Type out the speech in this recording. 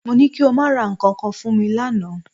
Mo ní kí o máa ra nǹkan kan fún mi lánàá